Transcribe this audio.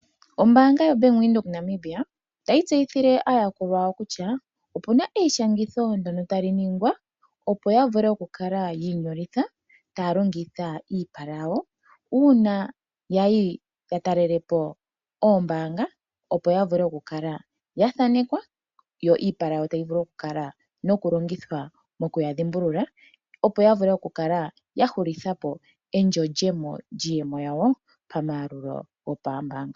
Ombaanga yo bank Windhoek Namibia otayi tseyithile aayakulwa yawo kutya opuna eishangitho ndono tali ningwa opo ya vule okukala yiinyolitha taya longitha iipala yawo uuna yayi ya talelepo oombaanga opo ya vule okukala ya thanekwa yo iipala yawo tayi vulu oku kala noku longithwa mokuya dhimbulula opo ya vule kukala ya hulithapo endjolyemo lyiiyemo yawo paamayalulo gopambaanga.